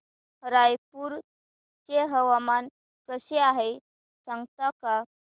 रायपूर चे हवामान कसे आहे सांगता का